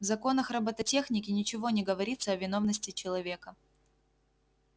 в законах роботехники ничего не говорится о виновности человека